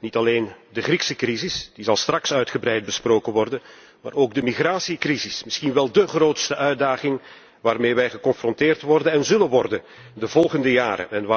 Ik denk aan de Griekse crisis, die straks uitgebreid zal worden besproken, maar ook aan de migratiecrisis, misschien wel de grootste uitdaging waarmee wij geconfronteerd worden en zullen worden de volgende jaren.